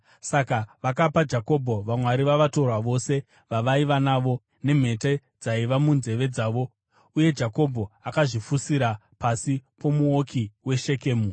Saka vakapa Jakobho vamwari vavatorwa vose vavaiva navo nemhete dzaiva munzeve dzavo, uye Jakobho akazvifushira pasi pomuouki weShekemu.